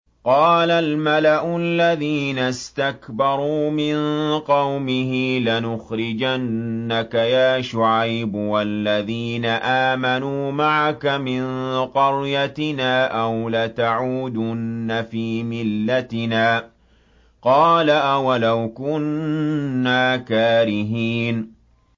۞ قَالَ الْمَلَأُ الَّذِينَ اسْتَكْبَرُوا مِن قَوْمِهِ لَنُخْرِجَنَّكَ يَا شُعَيْبُ وَالَّذِينَ آمَنُوا مَعَكَ مِن قَرْيَتِنَا أَوْ لَتَعُودُنَّ فِي مِلَّتِنَا ۚ قَالَ أَوَلَوْ كُنَّا كَارِهِينَ